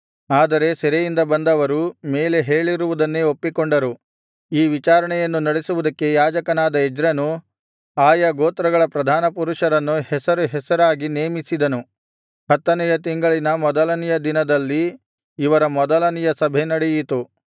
ಆದರೆ ಸೆರೆಯಿಂದ ಬಂದವರು ಮೇಲೆ ಹೇಳಿರುವುದನ್ನೇ ಒಪ್ಪಿಕೊಂಡರು ಈ ವಿಚಾರಣೆಯನ್ನು ನಡೆಸುವುದಕ್ಕೆ ಯಾಜಕನಾದ ಎಜ್ರನೂ ಆಯಾ ಗೋತ್ರಗಳ ಪ್ರಧಾನಪುರುಷರನ್ನು ಹೆಸರುಹೆಸರಾಗಿ ನೇಮಿಸಿದನು ಹತ್ತನೆಯ ತಿಂಗಳಿನ ಮೊದಲನೆಯ ದಿನದಲ್ಲಿ ಇವರ ಮೊದಲನೆಯ ಸಭೆ ನಡೆಯಿತು